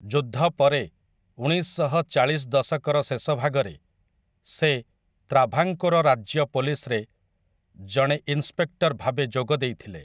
ଯୁଦ୍ଧ ପରେ, ଉଣେଇଶଶହ ଚାଳିଶ ଦଶକର ଶେଷଭାଗରେ, ସେ ତ୍ରାଭାଙ୍କୋର ରାଜ୍ୟ ପୋଲିସରେ ଜଣେ ଇନ୍ସପେକ୍ଟର ଭାବେ ଯୋଗ ଦେଇଥିଲେ ।